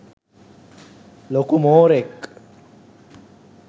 ලොකු මෝරෙක්